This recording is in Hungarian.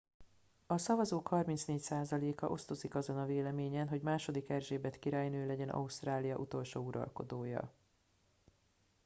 a szavazók 34 százaléka osztozik azon a véleményen hogy ii erzsébet királynő legyen ausztrália utolsó uralkodója